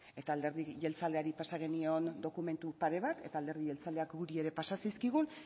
eta alderdi jeltzaleari pasa genion dokumentu pare bat eta alderdi jeltzaleak guri ere pasa zizkigun